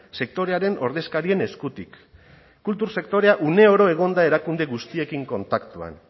sektorearen ordezkarien eskutik kultur sektorea uneoro egon da erakunde guztiekin kontaktuan